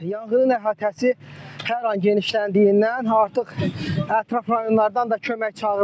Yanğının əhatəsi hər an genişləndiyindən artıq ətraf rayonlardan da kömək çağırılıb.